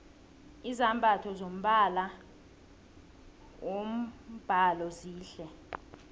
izambatho zombala wombhalo zihle